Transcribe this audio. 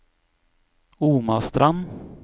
Omastrand